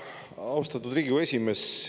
Austatud Riigikogu esimees!